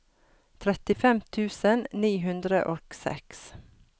trettifem tusen ni hundre og seks